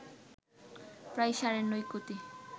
প্রায় সাড়ে ৯ কোটি